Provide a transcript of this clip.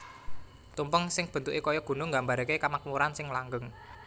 Tumpeng sing bentuke kaya Gunung nggambarake kamakmuran sing langgeng